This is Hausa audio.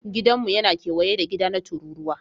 Gidanmu yana kewaye da gida na tururuwa